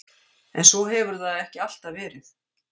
En svo hefur það ekki alltaf verið.